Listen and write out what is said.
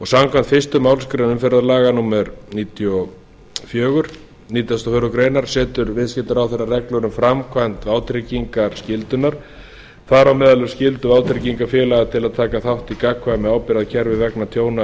samkvæmt fyrstu málsgrein umferðarlaga númer níutíu og fjögur nítugasta og fjórðu grein setur viðskiptaráðherra reglur um framkvæmd vátryggingarskyldunnar þar á meðal um skyldu vátryggingafélaga til að taka þátt í gagnkvæmu ábyrgðarkerfi vegna tjóna af